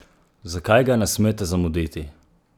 Zakaj ga ne smete zamuditi?